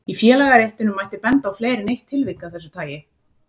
Í félagaréttinum mætti benda á fleiri en eitt tilvik af þessu tagi.